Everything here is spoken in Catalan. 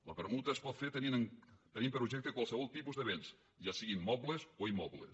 la permuta es pot fer tenint per objecte qualsevol tipus de béns ja sigui mobles o immobles